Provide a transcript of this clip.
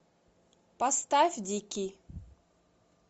поставь дикий